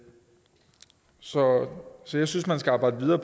så jeg synes man skal arbejde videre